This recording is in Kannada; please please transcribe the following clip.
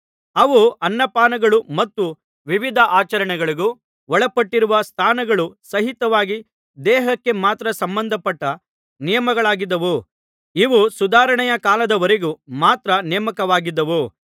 ಅವು ಅನ್ನಪಾನಗಳೂ ಮತ್ತು ವಿವಿಧ ಆಚರಣೆಗಳಿಗೂ ಒಳಪಟ್ಟಿರುವ ಸ್ನಾನಗಳು ಸಹಿತವಾಗಿ ದೇಹಕ್ಕೆ ಮಾತ್ರ ಸಂಬಂಧಪಟ್ಟ ನಿಯಮಗಳಾಗಿದ್ದು ಇವು ಸುಧಾರಣೆಯ ಕಾಲದವರೆಗೆ ಮಾತ್ರ ನೇಮಕವಾಗಿದ್ದವು